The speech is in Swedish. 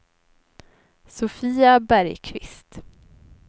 Sofia Bergkvist